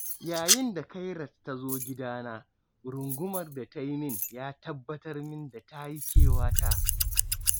yayin da khairat tazo gidana, rungumar da tayi min, ya tabbatar min da tayi kewata.